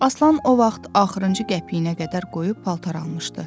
Aslan o vaxt axırıncı qəpiyinə qədər qoyub paltar almışdı.